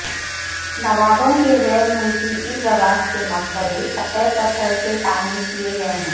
نوابوں کی غیر ملکی ازواج کے مقبرے سفید پتھر سے تعمیر کیے گئے ہیں